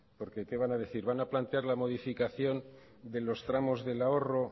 porque qué van a decir van a plantear la modificación de los tramos del ahorro